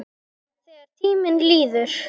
Þegar tíminn líður